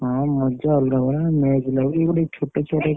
ହଁ ମଜା ଅଲଗା ପ୍ରକାର ପୁରା match ଲଗା ଲାଗି ଏଇ ଗୋଟେ ଛୋଟ ଛୁଆ ତେ କଣ